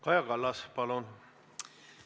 Kaja Kallas, palun!